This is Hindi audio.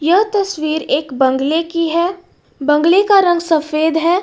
यह तस्वीर एक बंगले की है बंगले का रंग सफेद है।